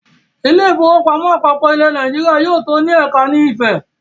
“ Ilé-ìfowópamọ́ àpapọ̀ ilẹ̀ Nàìjíríà ” yóò tó ní ẹ̀ka ni Ifẹ̀.